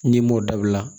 N'i m'o dabila